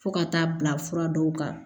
Fo ka taa bila fura dɔw kan